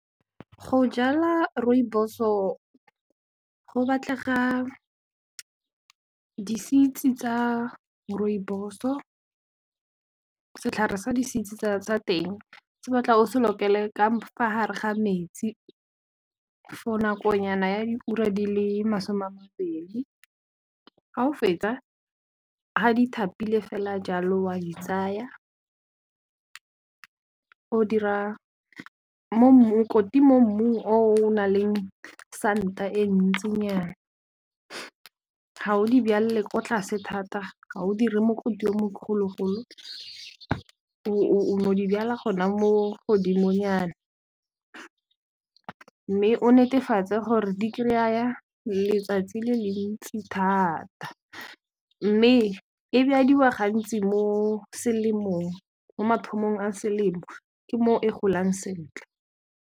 Go jala Rooibos-o go batlega di-seeds tsa Rooibos-o, setlhare sa di-seeds sa teng se batla o se lokele ka fa gare ga metsi for nakonyana ya di-ura di le masome a mabedi. Fa o fetsa, ha di thapile fela jalo wa di tsaya, o dira mokoti mo mmung o o naleng santa e ntsinyana. Ga o di byalle ko tlase thata, ga o dire mokoti o mogologolo, o no di byala gona mo godimonyana, mme o netefatse gore di kraya letsatsi le le ntsi thata, mme e byadiwa gantsi mo selemong, mo mathomong a selemo ke mo e golang sentle.